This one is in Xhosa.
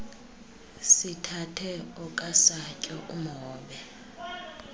sithathe okasatyo umhobe